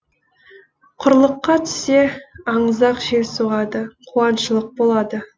құрлыққа түссе аңызақ жел соғады қуаңшылық болады